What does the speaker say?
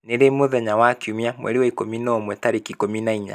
ni ri mũthenya wa kiumia mweri wa ikũmi na ũmwe tarĩki ikũmi na inya